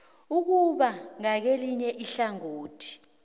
ukube ngakelinye ihlangothi